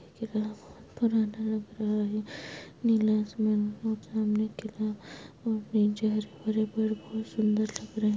किला बहुत पुराना लग रहा है नीला आसमान और सामने किला और नीचे हरे-भरे पेड़ बहुत सुंदर लग रहे हैं।